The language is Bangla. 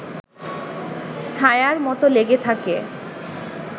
ছায়ার মতো লেগে থাকে